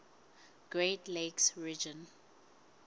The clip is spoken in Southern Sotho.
great lakes region